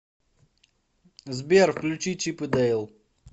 сбер включи чип и дейл